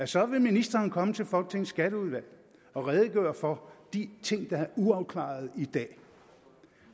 så vil ministeren komme til folketingets skatteudvalg og redegøre for de ting der er uafklarede i dag